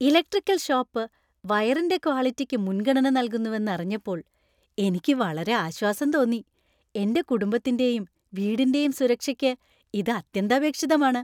Electrical shop വയറിന്‍റെ ക്വാളിറ്റിയ്ക്ക് മുൻഗണന നൽകുന്നുവെന്ന് അറിഞ്ഞപ്പോൾ എനിക്ക് വളരെ ആശ്വാസം തോന്നി . എന്‍റെ കുടുംബത്തിന്‍റെയും വീടിന്‍റെയും സുരക്ഷയ്ക്ക് ഇത് അത്യന്താപേക്ഷിതമാണ്.